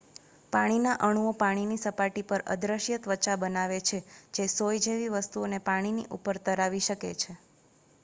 પાણીના અણુઓ પાણીની સપાટી પર અદૃશ્ય ત્વચા બનાવે છે જે સોય જેવી વસ્તુઓને પાણીની ઉપર તરાવી શકે છે